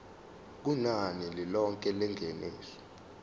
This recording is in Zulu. kunani lilonke lengeniso